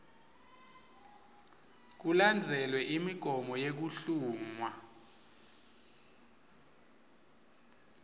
kulandzelwe imigomo yekuhlungwa